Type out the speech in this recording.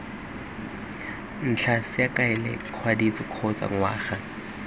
ntlha saekele kgwedithataro kgotsa ngwaga